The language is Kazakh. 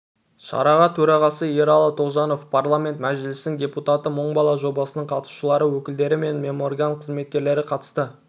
шараға төрағасы ералы тоғжанов парламент мәжілісінің депутаты мың бала жобасының қатысушылары өкілдері мен меморган қызметкерлері қатысты